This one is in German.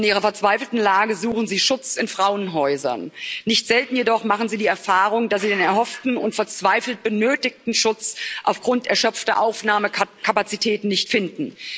In ihrer verzweifelten Lage suchen sie Schutz in Frauenhäusern. Nicht selten jedoch machen sie die Erfahrung, dass sie den erhofften und verzweifelt benötigten Schutz aufgrund erschöpfter Aufnahmekapazitäten nicht finden.